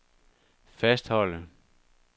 fastholde